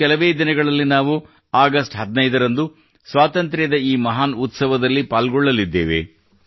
ಇನ್ನು ಕೆಲವೇ ದಿನಗಳಲ್ಲಿ ನಾವು ಆಗಸ್ಟ್ 15 ರಂದು ಸ್ವಾತಂತ್ರ್ಯದ ಈ ಮಹಾನ್ ಉತ್ಸವದಲ್ಲಿ ಪಾಲ್ಗೊಳ್ಳಲಿದ್ದೇವೆ